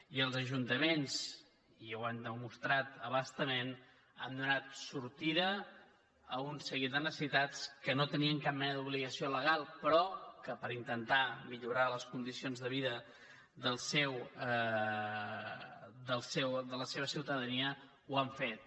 i els ajuntaments i ho han demostrat a bastament han do·nat sortida a un seguit de necessitats que no hi tenien cap mena d’obligació legal però que per intentar mi·llorar les condicions de vida de la seva ciutadania ho han fet